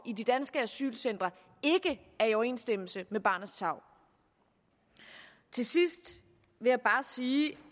i de danske asylcentre ikke er i overensstemmelse med barnets tarv til sidst vil jeg bare sige